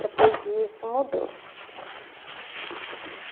Depois disso, mudou.